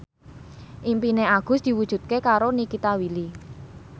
impine Agus diwujudke karo Nikita Willy